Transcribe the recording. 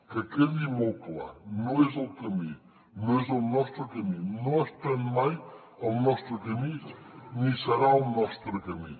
que quedi molt clar no és el camí no és el nostre camí no ha estat mai el nostre camí ni serà el nostre camí